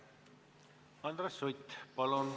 Andres Sutt, palun!